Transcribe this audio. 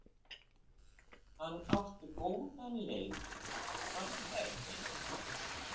Hann átti góðan leik var það ekki?